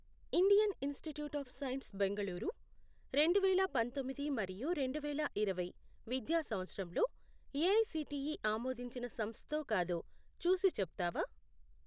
Indian Institute of Science Bengaluru రెండువేల పంతొమ్మిది మరియు రెండువేల ఇరవై విద్యా సంవత్సరంలో ఏఐసిటిఈ ఆమోదించిన సంస్థో కాదో చూసి చెప్తావా?